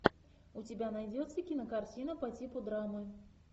у тебя найдется кинокартина по типу драмы